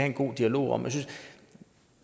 en god dialog om